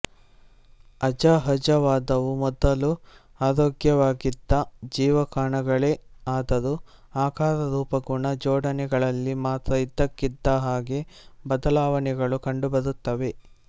ಅಸಹಜವಾದವೂ ಮೊದಲು ಆರೋಗ್ಯವಾಗಿದ್ದ ಜೀವಕಣಗಳೇ ಆದರೂ ಆಕಾರ ರೂಪ ಗುಣ ಜೋಡಣೆಗಳಲ್ಲಿ ಮಾತ್ರ ಇದ್ದಕ್ಕಿದ್ದಹಾಗೆ ಬದಲಾವಣೆಗಳು ಕಂಡುಬರುತ್ತವೆ